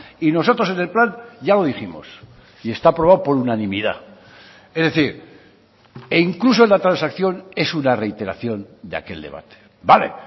y nosotros en el plan ya lo dijimos y está aprobado por unanimidad es decir e incluso en la transacción es una reiteración de aquel debate vale